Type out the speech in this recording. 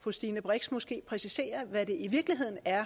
fru stine brix kan måske præcisere hvad det i virkeligheden er